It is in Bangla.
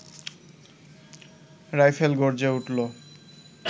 রাইফেল গর্জে উঠল